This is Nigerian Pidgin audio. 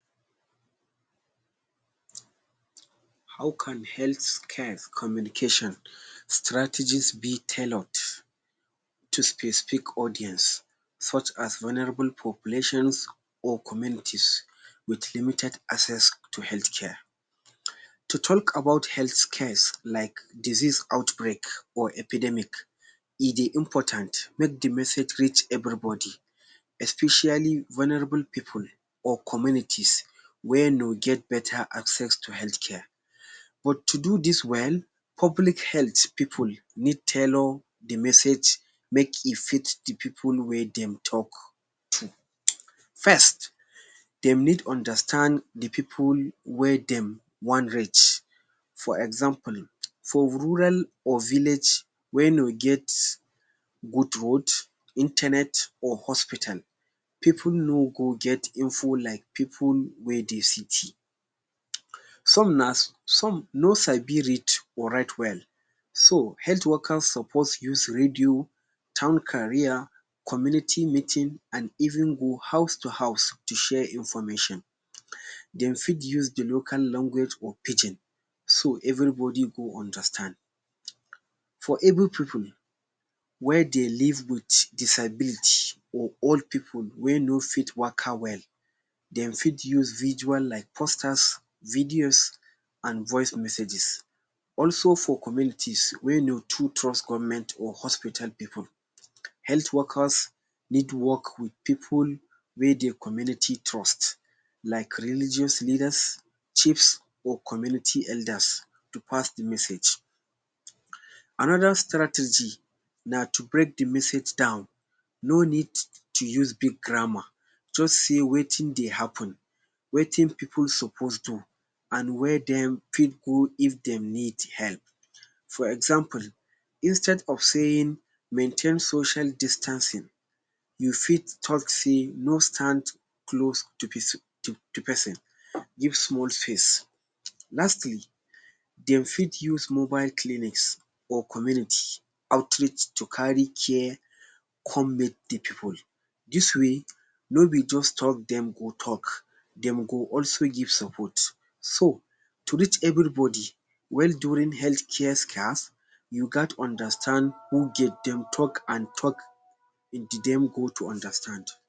How can health cares communication strategies be tailored to specific audience such as vulnerable populations or communities with limited access to health care? To talk about health cares like disease outbreak or epidermic, e dey important make the message reach everybody, especially vulnerable pipu or communities wey no get beta acccess to health care. But to do dis well, public health pipu need tailor the message make e fit the pipu wey dem talk to. First, dem need understand the pipu wey dem wan reach. For example, for rural or village wey no get good road, internet, or hospital, pipu no go get info like pipu wey dey city. Some na some no sabi read or write well. So, health workers suppose use radio, town carrier, community meeting an even go house to house to share information. Dem fit use the local language or Pidgin so everybody go understand. For able pipu wey dey live with disability or old pipu wey no fit waka well, dem fit use visual like posters, videos, an voice messages. Also, for communities wey no too trust government or hospital pipu, health workers need to work with pipu wey the community trust like religious leaders, chiefs, or community elders to pass the message. Another strategy na to break the message down. No need to use big grammar. Juz say wetin dey happen, wetin pipu suppose do, an where dem fit go if dem need help. For example, instead of saying maintain social distancing, you fit talk sey no stand close to to pesin, give small space. Lastly, de fit use mobile clinics or community outreach to carry care come meet the pipu. Dis way, no be juz talk dem go talk, dem go also give support. So, to reach everybody well during health care you gat understand who get dem talk an talk the dem go to understand.